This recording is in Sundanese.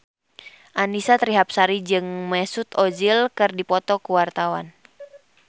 Annisa Trihapsari jeung Mesut Ozil keur dipoto ku wartawan